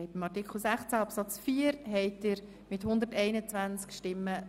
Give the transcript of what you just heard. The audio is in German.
Abstimmung (Art. 16 Abs. 4; Antrag Regierung/SiK)